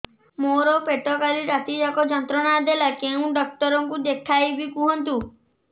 ମୋର ପେଟ କାଲି ରାତି ଯାକ ଯନ୍ତ୍ରଣା ଦେଲା କେଉଁ ଡକ୍ଟର ଙ୍କୁ ଦେଖାଇବି କୁହନ୍ତ